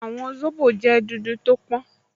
Àwọ̀ zobo jẹ́ dúdú tó pọ́n